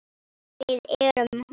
Við erum hún.